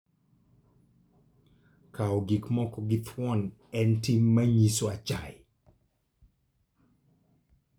Kawo gik moko gi thuon en tim manyiso achaye.